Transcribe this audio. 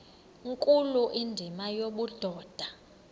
nkulu indima yobudoda